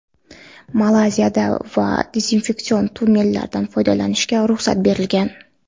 Malayziyada ham dezinfeksion tunnellardan foydalanishga ruxsat berilgan.